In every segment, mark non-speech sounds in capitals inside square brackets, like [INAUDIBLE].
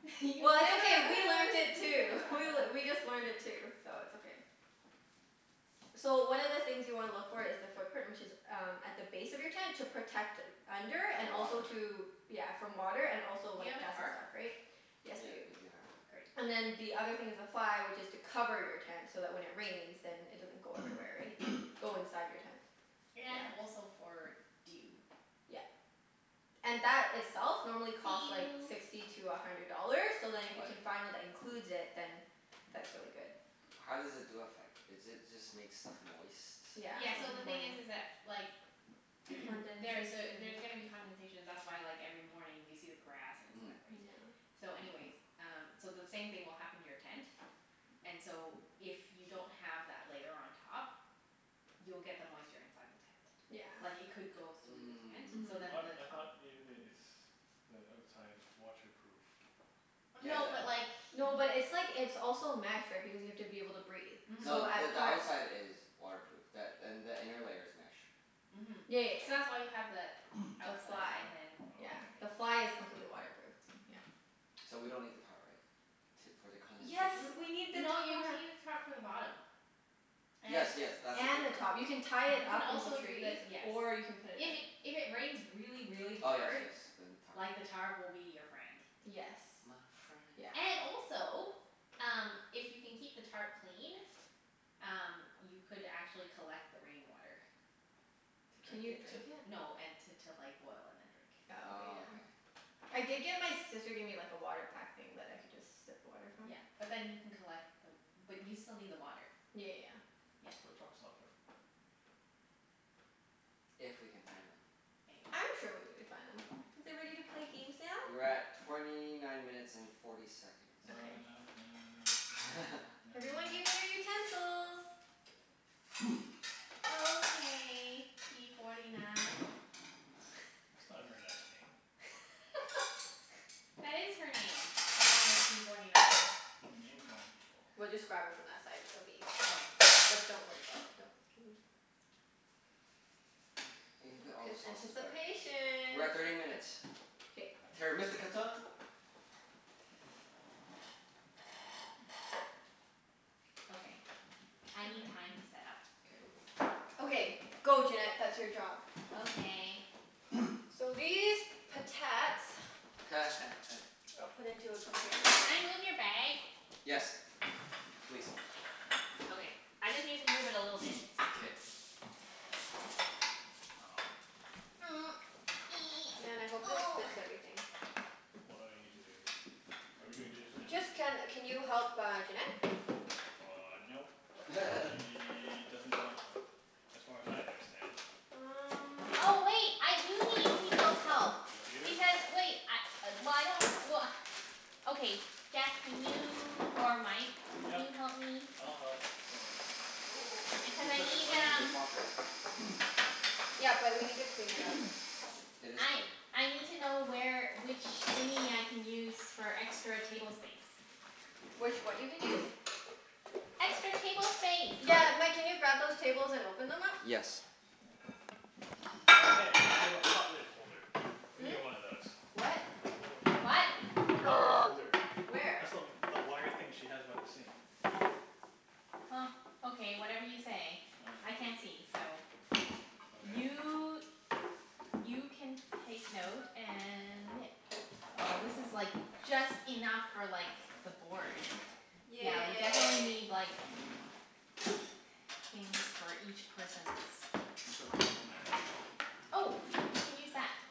What? [LAUGHS] You've never Well, it's okay. We learnt it too. [LAUGHS] We heard [INAUDIBLE] just learned it too, so it's okay. So, one of the things you wanna look for is the footprint, which is um at the base of your tent to protect under, and The also water. to Yeah, from water and also Do you like have a dust and tarp? stuff, right? Yes, we do. Yep, we do have a tarp. Great. And then the other thing is the fly which is to cover your tent, so that when it rains then it doesn't go everywhere, right? [NOISE] Go inside your tent. And Yeah. also for dew. Yeah. And that itself normally costs like Dew. sixty to a hundred dollars, so then if you What? can find one that includes it, then that's really good. How does the dew affect? Is it just make stuff moist from Yeah, Yeah, so in the the thing is morning. is that like [NOISE] there's a, Condensation. there's gonna be condensation. That's why like every morning you see the grass and it's Mhm. wet, right? Yeah. So anyways, um so the same thing will happen to your tent and so if you don't have that layer on top you'll get the moisture inside the tent. Yeah. Like it could go though the tent so What? Mhm. then I the thought top Mm. ev- it's the outside is waterproof. No, but Yeah, like that th- No, but it's like, it's also mesh right, because you have to be able to breathe. So No, Mhm. the at the parts outside is waterproof, th- and the inner layer is mesh. Mhm. Yeah, yeah, So yeah. that's why you have the [NOISE] The The outside fly? fly. and then Yeah. this Oh, The okay. thing. fly is completely waterproof. Yeah. Mhm. So we don't need the tarp, right? T- for the Yes, condensation? we need the N- no you need to tarp. use tarp for the bottom. Yes, yes, that's the And the footprint. top. You can tie it up You into can also trees, do the, or yes. you can put it If [INAUDIBLE] it, if it rains really, Oh really yes, hard yes, then tarp. like the tarp will be your friend. Yes. My friend. Yeah. And also, um if you can keep the tarp clean um you could actually collect the rain water. To Can drink you it? drink it? No, and t- to like boil and then drink. Oh, okay, Oh, yeah. okay. I did get, my sister gave me like a water pack thing that I could just sip water from. Yeah. But then you can collect the w- but you still Yeah, yeah, need yeah. the water. That's Yeah. what truck stops are for. If we can find them. Maybe. I'm sure we'll be able to find them. Are Is we it ready to ready play to games play now? games We're now? at torny nine minutes and forty seconds. Na na Okay. na. Na na na. Na na na. [LAUGHS] Na Everyone na give me your na. utensils. [NOISE] Okay p forty nine. That's not a very nice name. [LAUGHS] That is her name. Her name is p forty nine. You're name-calling people. We'll just grab it from that side and it'll be easier. But don't worry about it, don't [NOISE] Okay. You can P- put all the p- sauces back. anticipation. We're at thirty minutes. K. Terra Mystica time. Okay, I need Okay. time to set up. K. Okay. [INAUDIBLE] Go Junette. That's your job. Okay. [NOISE] So these potats [LAUGHS] I'll put into a container. Can I move your bag? Yes. Please. Okay, I just need to move it a little [NOISE] bit. K. Um. Man, I hope this fits [INAUDIBLE] everything. What do I need to do? Are we doing dishes now? Just, can can you help uh Junette? Uh, nope. Nope. [LAUGHS] She doesn't want help, as far as I understand. Um Oh wait, I do need people's help. You do? Because wait, I, well I don't, well Okay, Jeff can you, or Mike can Yep. you help me? I'll help. Hold on. Oh, do we Cuz I put this need on the um dishwasher? [NOISE] Yeah, but we need to clean it out first. [NOISE] It is I clean. I need to know where, which thingie I can use for extra table space. Which what you can use? [NOISE] Extra table space. Got Yeah, it. Mike, can you grab those tables and open them up? Yes. Oh hey, you have a pot lid holder. We Hmm? need one of those. What? You have a pot lid What? holder. Pot lid [NOISE] holder. Where? Where? That's the w- the wire thing she has by the sink. Huh. Okay, whatever you say. I [NOISE] can't see, so Okay. You you [NOISE] can take note and yeah Oh, this is like just enough for like the board. Yeah, we Okay. definitely Yay. need like things for each person's It's okay. We'll manage. Oh, we can use that. [NOISE]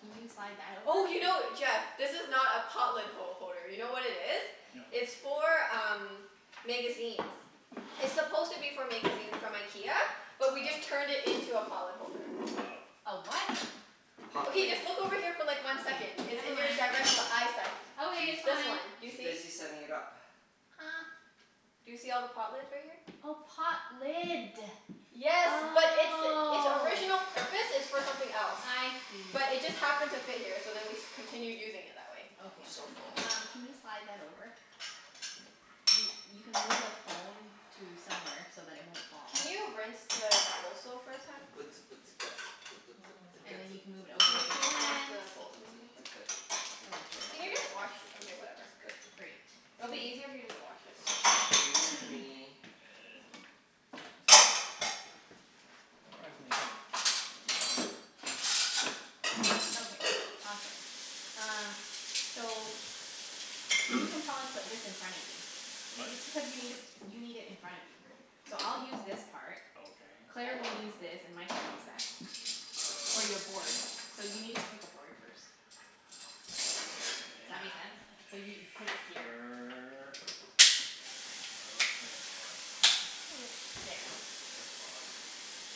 Can you slide that over? Oh, you know, Jeff? This is not a pot lid ho- holder. You know what it is? No. It's for um magazines. It's supposed to be for magazines from IKEA. Oh. But we just turned it into a pot lid holder. Oh. A what? Pot Okay, lid. just look over here for like one Okay, second. It's never in your mind. direct l- eyesight. Okay, She's it's This fine. one. Do you she's see? busy setting it up. [NOISE] [NOISE] Do you see all the pot lids right here? Oh, pot lid. Yes, but its its Oh. original purpose is for something else. I see. But it just happened to fit here so then we continued using it that way. I'm Okay. so full. Um can you slide that over? You you can move the phone to somewhere so that it won't fall. Can you rinse the bowls though first, hun? And then you can move it over Can you with the please rinse [NOISE] plant. the bowls and everything first? Oh well, sure. Can you That just works. wash, okay whatever. [NOISE] Great. It'll be 'Scuse easier if you me. just wash it. 'Scuse [NOISE] me. [NOISE] [INAUDIBLE] Surprisingly heavy. [NOISE] Okay. Awesome. Um So, you [NOISE] can probably put this in front of you. What It's because you need i- you need it in front of you. So I'll use this part. Okay. Claire I will use this and Mike will use that. For Okay. your board. So you need to pick a board first. Does that make [NOISE] sense? So Okay. you put it here. Sure. Okay boss. [NOISE] There. Yes boss.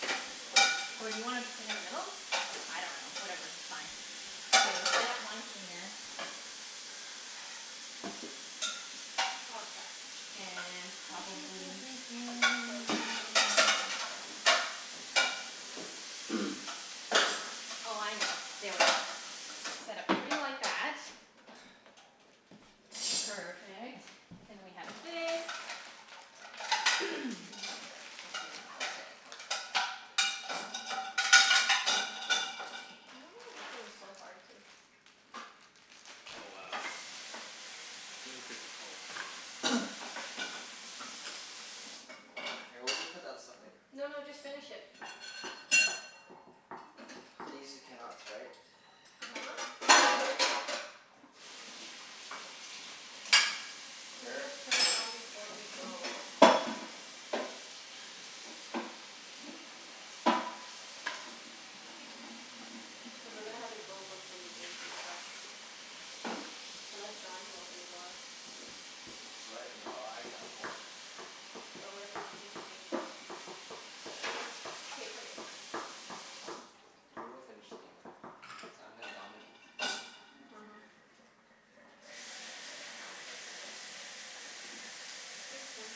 No boss. Or do you wanna p- sit in the middle? I No. dunno. Whatever, fine. Okay, we'll set up one here. Oh crap. And probably That would be difficult. [NOISE] [NOISE] Oh, I know. There we go. Set up three like that. [NOISE] Perfect. Then we have this. [NOISE] [LAUGHS] [NOISE] I don't know Okay. why this thing's so hard to [NOISE] Oh, wow. This is good for cult. [NOISE] Here, we'll just put that as stuff later. No no, just finish it. These are cannots, right? uh-huh. We'll Here. just turn it on before we go. Cuz we're gonna have to go [INAUDIBLE] from the game to your [NOISE] house. Unless John can open the door. What? No, I I'm going. But what if we don't finish the game? K, put it. We will finish the game, cuz I'm gonna dominate. uh-huh. Ah. Thanks hun.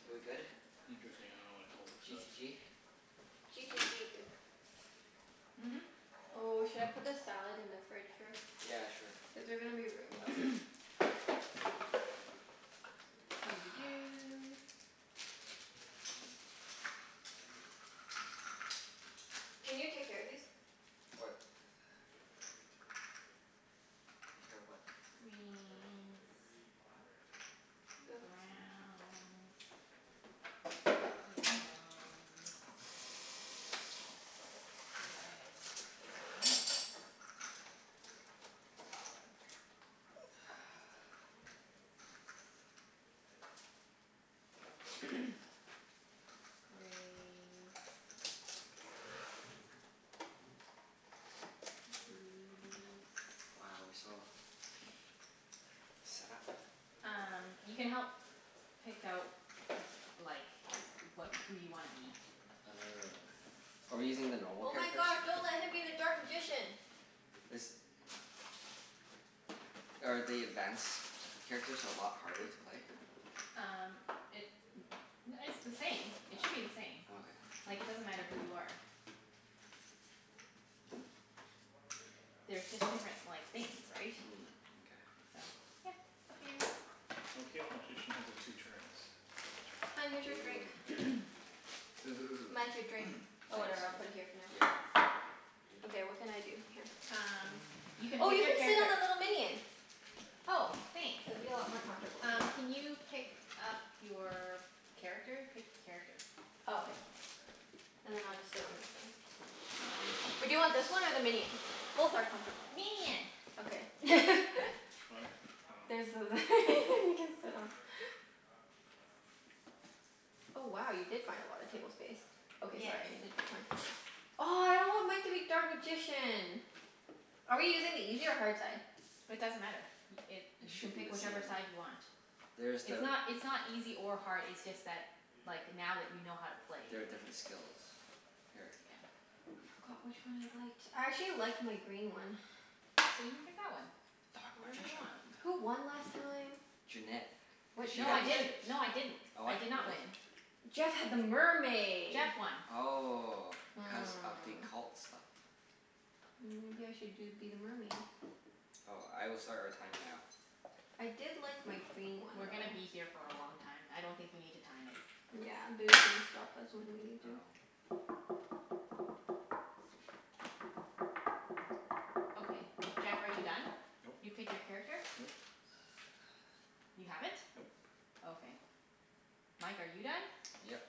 K, we good? Interesting, Okay. I don't know what a cultist G to does. g? G to g bib. Hmm? Oh, should I put the salad in the fridge first? Yeah, sure. Is there gonna be room though? [NOISE] Doo dee [NOISE] doo. Can you take care of these? What? Take care of what? Greens. [INAUDIBLE] Browns. Yellows. Red. [NOISE] Blacks. We go [NOISE] [INAUDIBLE] [NOISE] [NOISE] Grays. [NOISE] Blues. Wow, we're so set up. [NOISE] Um you can help pick out like wha- who you wanna be. [NOISE] Are we using the normal Oh my characters? gosh, don't let him be the dark magician. This Are the advanced characters a lot harder It to play? Um it it's the same. It All should be the same. right. Okay. Like it doesn't matter who you are. There's just different like things, right? Mm, mkay. So, yeah. Up to you. Okay if magician has a two turns. Double Hun, here's turn. your drink. [NOISE] Ooh. Mike, Ooh. your drink? [NOISE] Oh, whatever. I'll Thanks. put it here for now. Yeah. Okay, what can I do? Here. Um you [NOISE] can Oh, [NOISE] you pick can sit your on the character. little minion. Oh, It'll be thanks. a lot more comfortable. Here. Um can you pick up your character? Pick a character. Oh, okay. And then I'll just sit on this thing. Or do you want this one or the Chinese. minion? Both are comfortable. Minion. Okay. [LAUGHS] What? There's Oh. th- [LAUGHS] you can sit on. Oh wow, you did find a lotta table space. Okay, Yes. sorry. I needed the. [INAUDIBLE] Oh, I don't want Mike to be dark magician. Are we using the easy or hard side? It doesn't matter. Y- it, It you can should be pick the whichever same. side you want. There's It's the not it's not easy or hard, it's just that like now that you know how to play. There are different skills. Here. Yeah. I forgot which one I liked. I actually liked my green one. [NOISE] So you pick that one. Dark Whatever you magician. want. Who won last time? Junette. What Cuz What? she No had I what the did didn't. ships. No I didn't. Oh, I what? did not Really? win. Jeff had the mermaid. Jeff won. Oh. Cuz of the Hmm. cult stuff. Mm maybe I should do be the mermaid? Oh, I will start our time now. I did like my green one We're though. gonna be here for a long time. I don't think you need to time it. Yeah, they're just gonna stop us when we need to. Oh. Okay. Jeff, are you done? Nope. You pick your character? Nope. [NOISE] You haven't? Nope. Okay. Mike, are you done? Yep.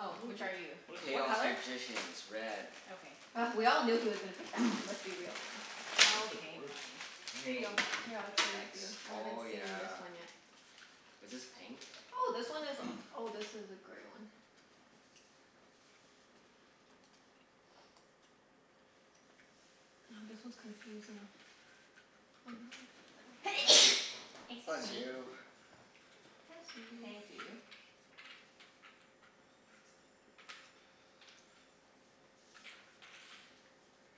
Oh. Which are you? What Chaos color? Magicians. Red. Okay. Oh we all knew he was gonna pick that one. [NOISE] Let's be real now. [INAUDIBLE] I Okay, fine. don't Here even know you what go. this Here, I'll is. trade with you. Thanks. I haven't Oh seen this yeah. one yet. Was this pink? Oh, this one is, [NOISE] oh, this is a gray one. Oh, this one's confusing. [INAUDIBLE] [NOISE] Excuse Bless me. you. Bless you. Thank you.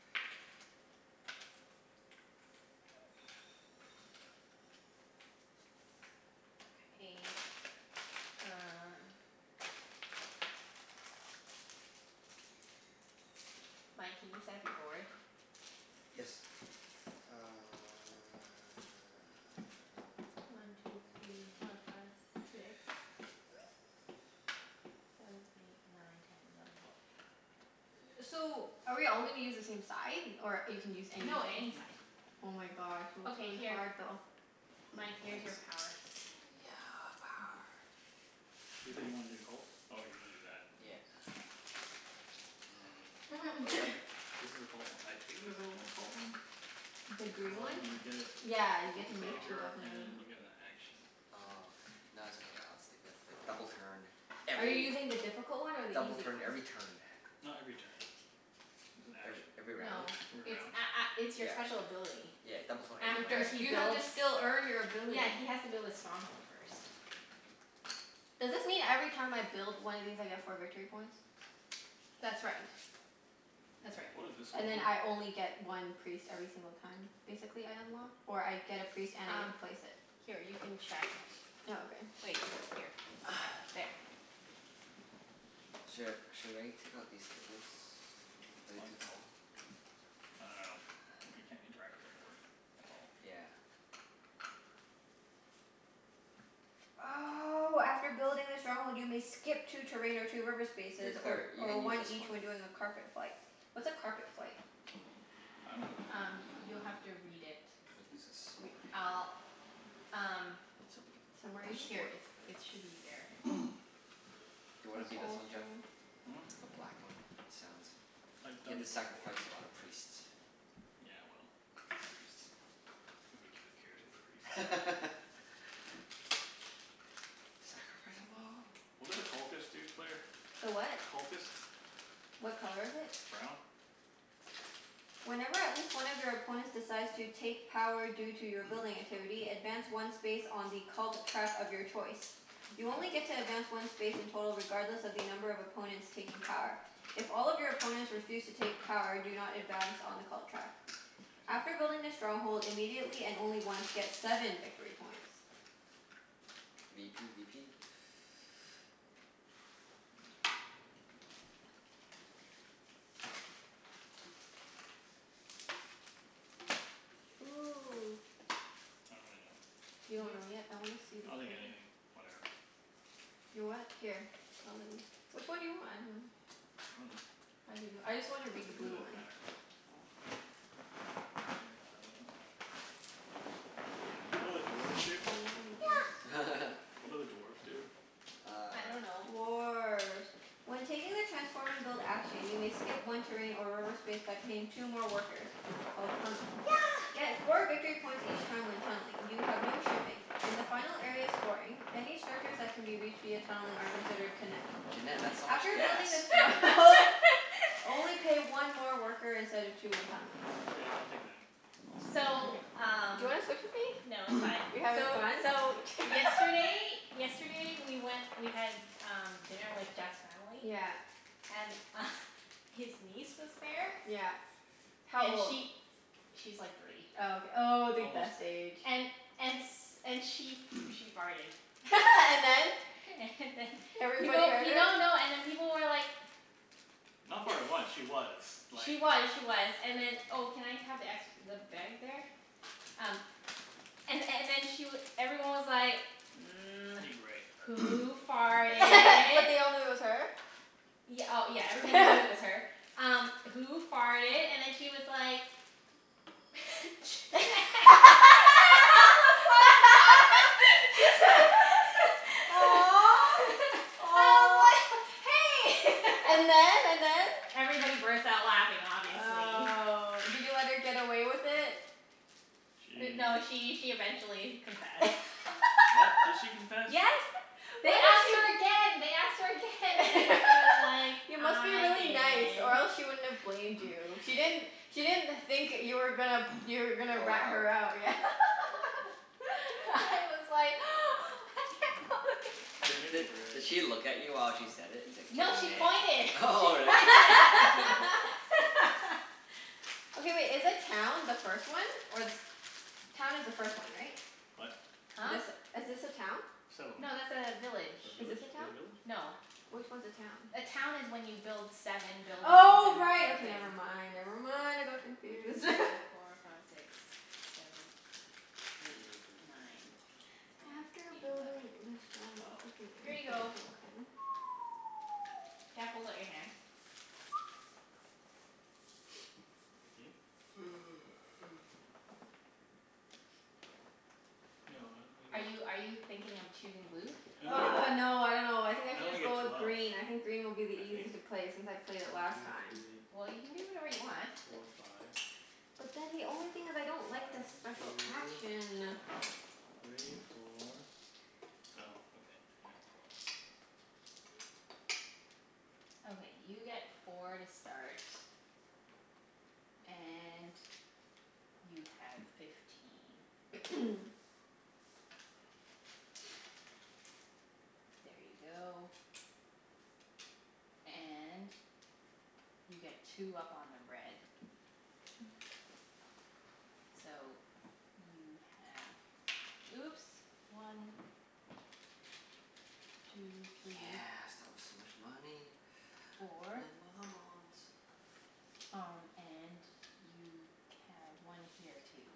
[NOISE] Okay, um Mike, can you set up your board? [NOISE] Yes. Uh [NOISE] One two three four five six. Seven eight nine ten eleven twelve. [NOISE] So, are we all gonna use the same side, or you can use No, anything? any side. [NOISE] Oh my gosh, [NOISE] it looks Okay, really here. hard though. Mike, here's your [NOISE] power. Thanks. Yeah, power. You said you wanted to be the cults? Oh, you wanna do that. Yeah. [NOISE] Or is Mm. that [NOISE] the [NOISE] This is a cult o- I think this a cult one? The This green one? one, you Oh. get Yeah, you get one to move two favor Oh. and you [INAUDIBLE] get a action. Oh, okay. No, it's okay, I'll stick with the double turn, Are you every, using the difficult one or the double easy turn one? every turn. Not every turn. It's an Every action. every No. round? Every It's round. a- a- it's your Yeah. special ability. Yeah, double turn You every have to After s- he you round. have to builds, still earn your ability. yeah, he has to build his stronghold first. Does this mean every time I build one of these I get four victory points? That's right. That's right. What does this one And then mean? I only get one priest every single time, basically, I unlock? Or I get a priest and I get Um, to place it? here you can check Oh, okay. Wait. Here. [NOISE] There. [NOISE] Sh- should I take out these tables? Are they What? too tall? I dunno. We can't [NOISE] interact with the board. That's all. Yeah. Oh, after building the stronghold you may skip two terrain or two river Hey spaces, or Claire, you or can use one this one. each when doing a carpet flight. What's a carpet flight? I dunno. Um you'll have to read it. We'll use this Re- over here. I'll, um So we can Somewhere in touch it's the here? here. board It's, over there. it should be there. [NOISE] Do you wanna It's be this one, Jeff? also Hmm? The black one? He sounds I've You have done to it before. sacrifice a lot of priests. Yeah, well, the priests. Nobody giv- cares about the priests. [LAUGHS] Sacrifice them all. What do the cultists do, Claire? The what? Cultists? What color is it? Brown. Whenever at least one of your opponents decides to take power due to your [NOISE] building activity, advance one space on the cult track of your choice. You only get to advance one space in total regardless of the number of opponents taking power. If all of your opponents refuse to take power do not advance on the cult track. I After see. building the stronghold immediately, and only once, get seven victory points. v p b p. Ooh. I don't really know. You don't You know yet? I wanna see the I'll take green anything. Whatever. You what? Here. I'll let you, which one do you want? I dunno. I dunno. [INAUDIBLE] I just wanna read the It really blue doesn't one. matter. It doesn't matter. What do dwarves do? [INAUDIBLE] Yeah. [LAUGHS] What do the dwarves do? I Uh dunno. Dwarf. When taking the transform and build action you may skip one terrain or reverse space by paying two more workers. Called tunneling. Yeah. Get four victory points each time when tunneling. You have no shipping. In the final area of scoring, any structures that can be reached via tunneling are considered connect. Junette, that's so much After gas. building a strong [LAUGHS] hold, [LAUGHS] only pay one more worker instead of two when tunneling. Okay. I'll take them. We'll see. So, Mkay. Do you um wanna switch with me? No, [NOISE] You're it's fine. having So fun? so yesterday [LAUGHS] Yesterday we went, we had um dinner with Jeff's family. Yeah. And [LAUGHS] his niece was there. Yeah. How And old? she, she's like three. Oh, ok- oh, the Almost best three. age. And and s- and she [NOISE] she farted. [LAUGHS] And then? [LAUGHS] And then Everybody People, heard her? no no, and then people were like Not farted once. [NOISE] She was, like She was, she was. And then Oh, can I have the ex- the bag there? Um and and then she w- everyone I need was gray. like, [NOISE] [NOISE] "Who [LAUGHS] But they farted?" all knew it was her? Y- oh, yeah, everyone knew Everybody. it [LAUGHS] was her. Um "Who farted?" and then she was like [LAUGHS] I [LAUGHS] was like, [LAUGHS] [INAUDIBLE] Aw. [LAUGHS] Aw. "Hey!" [LAUGHS] And then? And then? Everybody burst out laughing, obviously. Oh. Did you let her get away with it? D- no, She she she eventually confessed. What? Did [LAUGHS] she confess? Yes. Why They do asked her pe- again, they asked her again and then [LAUGHS] she was like, You must be "I really did." nice or else she wouldn't have blamed [NOISE] you. She didn't, she didn't think that you were gonna, [NOISE] you were gonna Call her rat out? her out. Yeah. [LAUGHS] [LAUGHS] I was like [NOISE] [LAUGHS] Di- [INAUDIBLE] the di- did grays. she look at you while she said it? It's like, No, she pointed. [LAUGHS] She "Junette." [LAUGHS] Really? pointed at me. [LAUGHS] [LAUGHS] Okay wait, is the town the first one, or the se- Town is the first one, right? What? Huh? This, is this a town? Settlement. No, that's a village. Or Is this village? a Is town? it village? No. Which one's a town? A town is when you build seven buildings Oh, and right. Okay, never [INAUDIBLE] I mind, never never mind. want I to go got confused. [LAUGHS] through [INAUDIBLE] four five six seven eight nine [NOISE] After ten eleven building the strongholds you twelve. can Here you [INAUDIBLE] a go. token. [NOISE] Jeff, hold out your hand. [NOISE] [NOISE] Fifteen? [NOISE] No, I only get Are you are you thinking of choosing blue? I only get, Argh, no, I dunno. I think I I should only just get go with twelve. green. I think green will be the I think. easiest to play, since I played it One last two time. Well, you can do whatever three you want. four five. [NOISE] But then the only thing is I don't like the One special two action. three four, oh okay. Yeah, twelve. [NOISE] Okay, you get four to start. And you have fifteen. [NOISE] [NOISE] There you go. And you get two up on the red. [NOISE] So, you have, oops. One. Two three. Yeah, start with so much money. Four. [INAUDIBLE] Um and you can, one here too.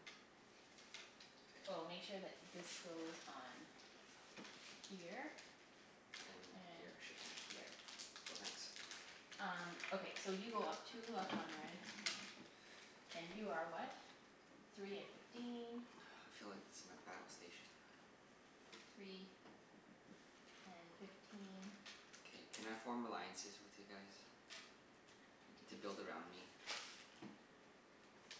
K. Oh, make sure that this goes on here. And And here. Shipping here. here. Cool, thanks. Um, okay. So you go up two up on the red. And you are what? Three and fifteen. I feel like this is my battle station. Three and fifteen. K, can I form alliances with you guys to build around me? [INAUDIBLE]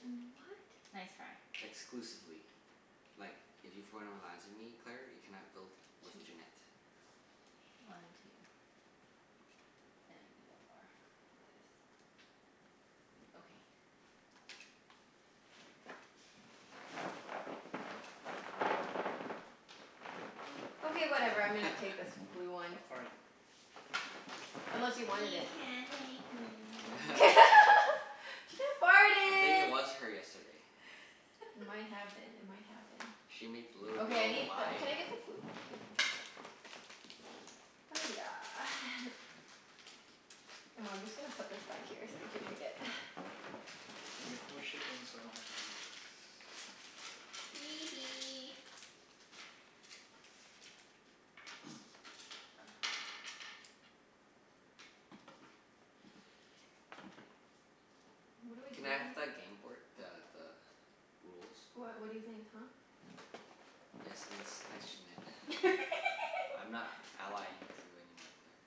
Mm, what? Nice try. Exclusively. Like, if you form an alliance with me, Claire, you cannot build with Two Junette. more. One two. And I need one more for this. Okay. Okay, whatever. I'm gonna take [LAUGHS] this blue one. Stop farting. Unless you wanted You it? can't make me. [LAUGHS] [LAUGHS] [LAUGHS] She I think it farted. was her yesterday. It might have been. It might have been. She made the little Okay, I girl need the, lie. can I get the blue p- Oh yeah. [NOISE] Oh, I'm just gonna put this back here so you can read it. [NOISE] And I get no shipping, so I don't actually need this. Hee [NOISE] hee. [NOISE] [NOISE] What do I do Can I have again? the gameboard, the the rules? What, what do you think, huh? Yes, thanks thanks Junette. [LAUGHS] I'm not allying with you anymore, Claire.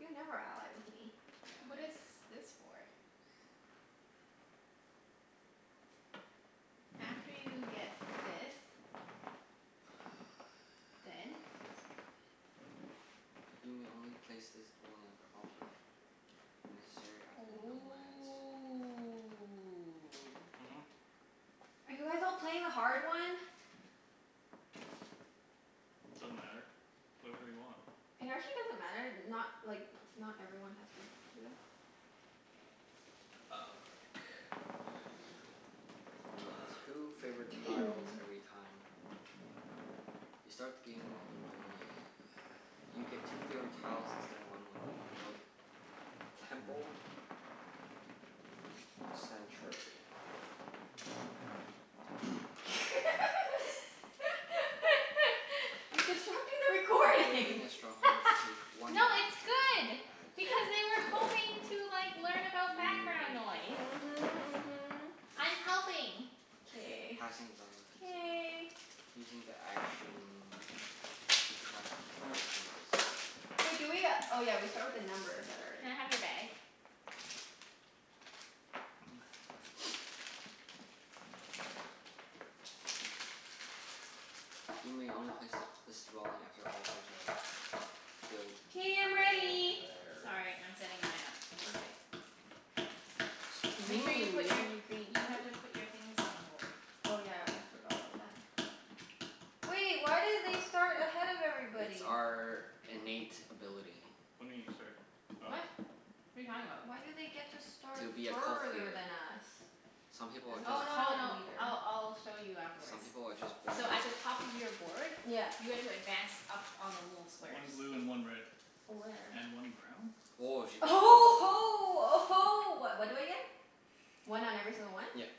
You never ally with me. Yeah, I What is this for? After you get this [INAUDIBLE] six, go Then? again. [NOISE] You may only place this dwelling after all players necessary after nomads. Ooh. Hmm? Are you guys all playing the hard one? Doesn't matter. Play whatever you want. It actually doesn't matter. Not, like not everyone has to do that. Oh. [NOISE] [NOISE] I get two favorite tiles [NOISE] every time. You start the game when dwelling You get two favorite tiles instead of one when you build temple or sanctuary. [NOISE] [LAUGHS] You're disrupting the If you're recording. building a stronghold [LAUGHS] No, take one action it's good token as a because [LAUGHS] they were hoping special to like learn You may about background take noise. the Mhm, mhm. I'm [INAUDIBLE] helping. K. Passing is also considered K. Using the action to keep track of using the special Wait do we uh, oh yeah, we start with the numbers that are Can I in have your bag? [NOISE] [NOISE] [NOISE] [NOISE] You may only place th- this dwelling after all players have built all K, I'm ready. theirs. Sorry, I'm setting mine up. Okay. Make Ooh, sure you you're put gonna be your, you green. have Hmm? to put your things on the board. Oh yeah, I almost forgot about that. Wait, why do they start ahead of It's everybody? our innate ability. What do you mean you start? Oh. What? What are you talking about? Why do they get to start To be a cult further leader. than us? Some people As are a just Oh, no no cult no. leader. I'll I'll show you Some afterwards. people are just born So at the better. top of your board Yeah. you guys will advance up on the little One squares. blue and one red. Where? And one brown? Woah, she Uh gets huh oh huh ho uh ho. What what do I get? One on every single one? Yep.